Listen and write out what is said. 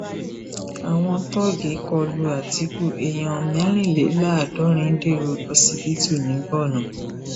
àwọn tóògì kọ lu àtikukù èèyàn mẹrìnléláàádọrin dèrò ọsibítù ní borno